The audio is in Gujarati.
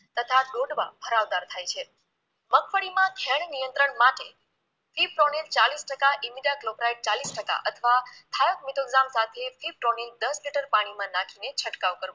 તથા ડોડવા ભરાવદાર થાય છે મગફળી માં ઝેર નિયંત્રણ માટે કિપ્રોનીન ચાલીસ ટકા ઈમીડા ક્લોપ્રાઈટ ચાલીસ ટકા અથવા હેવમિટોક્ઝામ સાથે કિપ્રોનીન દસ લિટર પાણીમાં નાખીને છંટકાવ કરવો